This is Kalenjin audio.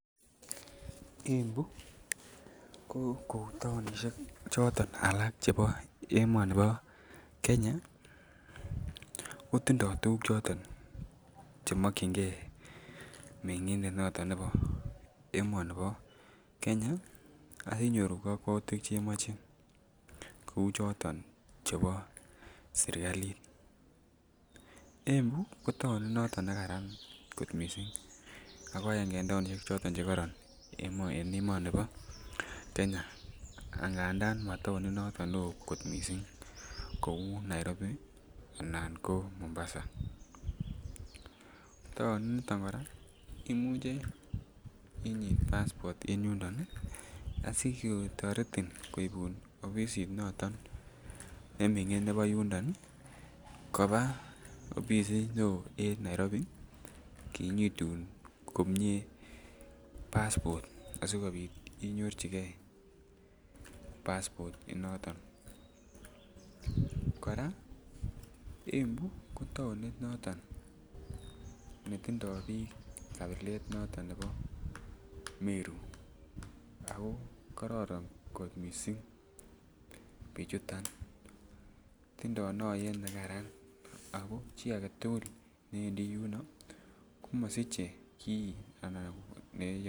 Embu ko kou taonisiek choton alak chebo emoni bo kenya kotindo tuguk chechang chemonkyingen mengindet noton nebo emoni bo Kenya ak kinyoru kakwoutiek chemoche kou choton sirkalit, Embu ko taonit noton nekaran kot missing, ako aenge en taonisiek choton chekoron en emoni bo Kenya angandan ma taonit noton neo kot missing kou Nairobi anan ko Mombasa, taonit niton kora imuche inyit passport en oliniton asikotoretin opisit noton neming'in nebo yundon koba opisit neo en Nairobi kinyitun komye passport asikobit inyorjigen passport inoton, kora Embu ko taonit noton netindoi biik kabilet noton nebo Meru ako kororon kot mising bichuton, tindoi noyet nekaran ako chi agetugul newendi yuno ii komasiche gii ana neyoe.